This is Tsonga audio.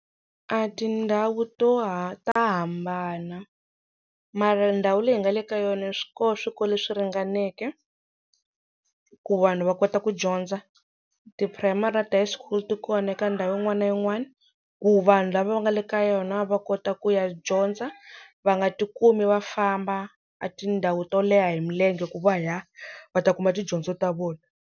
A tindhawu to ta hambana mara ndhawu leyi hi nga le ka yona swi koho swikolo leswi ringaneke ku vanhu va kota ku dyondza ti-primary na ti-high school ti kona eka ndhawu yin'wana na yin'wana ku vanhu lava va nga le ka yona va kota ku ya dyondza va nga tikumi va famba tindhawu to leha hi milenge ku va ya va ta kuma tidyondzo ta vona.